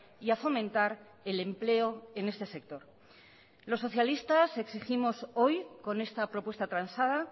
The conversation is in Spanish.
y a fomentar el empleo en este sector los socialistas exigimos hoy con esta propuesta transada